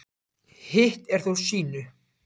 Hitt er þó sýnu